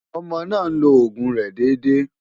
Ọmọ náà ń lo òògùn rẹ̀ déédé.